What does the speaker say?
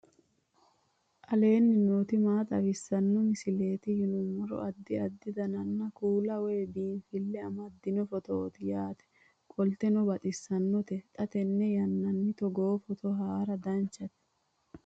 aleenni nooti maa xawisanno misileeti yinummoro addi addi dananna kuula woy biinsille amaddino footooti yaate qoltenno baxissannote xa tenne yannanni togoo footo haara danvchate